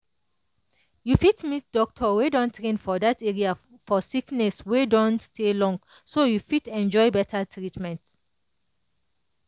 you fit meet doctor wey don train for that area for sickness wey don stay long so you fit enjoy better treatment.